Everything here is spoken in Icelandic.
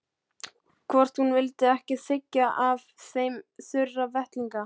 Hvort hún vildi ekki þiggja af þeim þurra vettlinga.